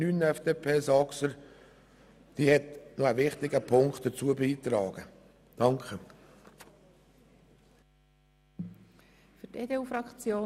Hingegen unterstützen wir die Planungserklärung 9 von der FDP (Saxer).